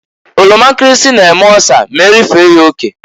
Oroma nkirisi na-eme ọsa m'erifee ya oke.